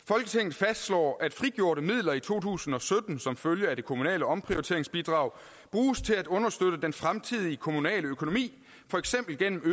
fastslår at frigjorte midler i to tusind og sytten som følge af det kommunale omprioriteringsbidrag bruges til at understøtte den fremtidige kommunale økonomi for eksempel gennem